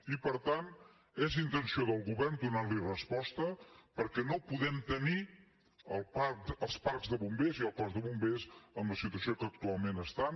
i per tant és intenció del govern donarhi resposta perquè no podem tenir els parcs de bombers i el cos de bombers en la situació que actualment estan